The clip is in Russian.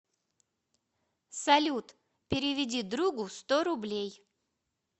салют переведи другу сто рублей